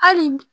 Hali bi